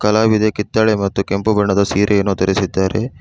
ಕಲಾವಿದೆ ಕಿತ್ತಳೆ ಮತ್ತು ಕೆಂಪು ಬಣ್ಣದ ಸೀರೆಯನ್ನು ಧರಿಸಿದ್ದಾರೆ.